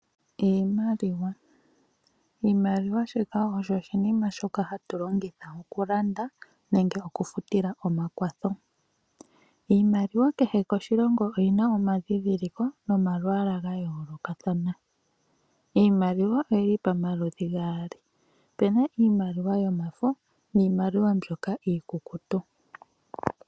Iimaliwa Oshimaliwa osho oshinima shoka hatu longitha okulanda nenge okufutila omakwatho. Iimaliwa kehe koshilongo oyi na omadhindhiliko nomalwaala ga faathana. Iimaliwa oyi li pamaludhi paali. Opu na yomafo niimaliwa iikukutu.